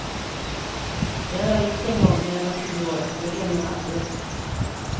Det har jag gjort en gång, när jag var tio år och det glömmer jag aldrig.